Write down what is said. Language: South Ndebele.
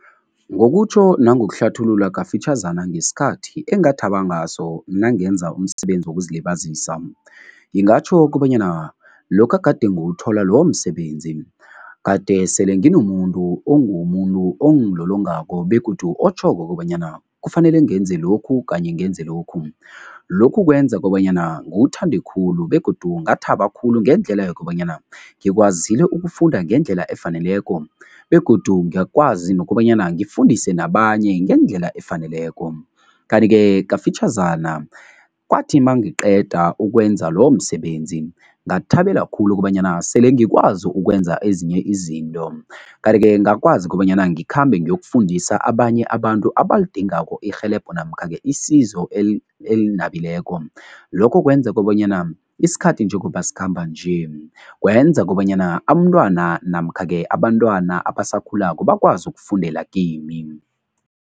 Ngokutjho nangokuhlathulula kafitjhazana ngesikhathi engathaba ngaso nangenza umsebenzi wokuzilibazisa, ngingatjho kobanyana lokha gade ngiwuthola lowo msebenzi, kade sele nginomuntu ongumuntu ongilolongako begodu otjhoko kobanyana kufanele ngenze lokhu kanye ngenze lokhu. Lokhu kwenza kobanyana ngiwuthande khulu begodu ngathaba khulu ngendlela yokobanyana ngikwazile ukufunda ngendlela efaneleko begodu ngakwazi nokobanyana ngifundise nabanye ngendlela efaneleko. Kanti-ke kafitjhazana, kwathi mangiqeda ukwenza lowo msebenzi ngathabela khulu ukobanyana sele ngikwazi ukwenza ezinye izinto kanti-ke ngakwazi ukobanyana ngikhambe ngiyokufundisa abanye abantu abalidingako irhelebho namkha-ke isizo elinabileko. Lokho kwenza kobanyana isikhathi njengoba sikhamba nje, kwenza kobanyana amntwana namkha-ke abantwana abasakhulako bakwazi ukufundela kimi.